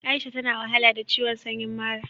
Aisha ta na wahala da ciwon sanyin mara.